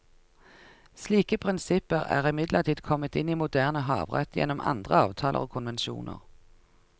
Slike prinsipper er imidlertid kommet inn i moderne havrett gjennom andre avtaler og konvensjoner.